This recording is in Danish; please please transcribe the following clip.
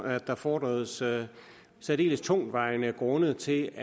at der fordredes særdeles tungtvejende grunde til